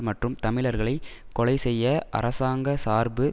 மற்றும் தமிழர்களை கொலை செய்ய அரசாங்கசார்பு